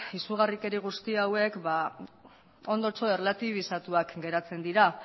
izugarrikeri guzti hauek ondotxo erlatibizatuak geratzen dira